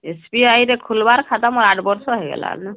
SBI ରେ ଖୁଲିବାର ଖାତା ମୋର ଆଠ ବର୍ଷ ହେଇ ଗଲା ନ